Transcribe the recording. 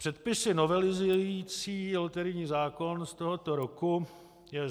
Předpisy novelizující loterijní zákon z tohoto roku jsou: